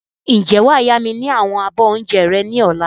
Ǹjẹ́ wàá yá mi ni àwọn abọ́ oúnjẹ rẹ ni ọ̀la?